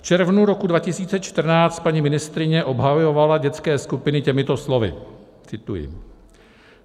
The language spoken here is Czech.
V červnu roku 2014 paní ministryně obhajovala dětské skupiny těmito slovy - cituji.